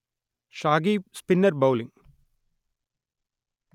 Shakib spinner bowling